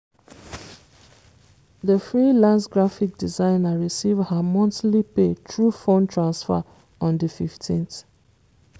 di freelance graphic designer receive her monthly pay through phone transfer on di 15th.